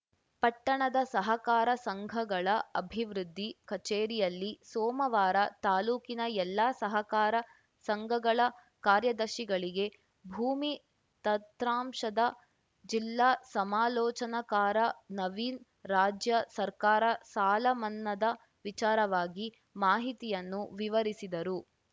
ಪಟ್ಟಣದ ಸಹಕಾರ ಸಂಘಗಳ ಅಭಿವೃದ್ದಿ ಕಚೇರಿಯಲ್ಲಿ ಸೋಮವಾರ ತಾಲೂಕಿನ ಎಲ್ಲಾ ಸಹಕಾರ ಸಂಘಗಳ ಕಾರ್ಯದರ್ಶಿಗಳಿಗೆ ಭೂಮಿ ತತ್ರಾಂಶದ ಜಿಲ್ಲಾ ಸಮಾಲೋಚನಕಾರ ನವೀನ್‌ ರಾಜ್ಯ ಸರ್ಕಾರ ಸಾಲ ಮನ್ನದ ವಿಚಾರವಾಗಿ ಮಾಹಿತಿಯನ್ನು ವಿವರಿಸಿದರು